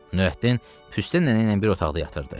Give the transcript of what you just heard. Nurəddin Püstə nənə ilə bir otaqda yatırdı.